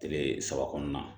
Kile saba kɔnɔna na